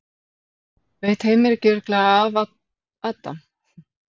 Veit Heimir ekki alveg örugglega af Adam?